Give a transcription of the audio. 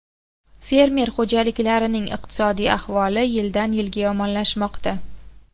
Fermer xo‘jaliklarining iqtisodiy ahvoli yildan-yilga yomonlashmoqda.